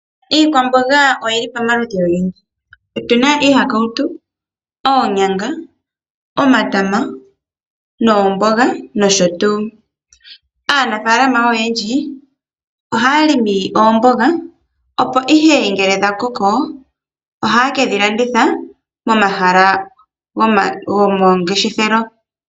Iikwamboga oyi li pamaludhi ogendji, otu na iihakawutu, oonyanga, omatama noomboga nosho tuu. Aanafaalama oyendji ohaya limi oombooga opo ihe ngele dha koko ohaye kedhi landitha momahala gomangeshefelo.